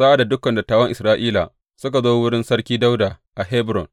Sa’ad da dukan dattawan Isra’ila suka zo wurin Sarki Dawuda a Hebron,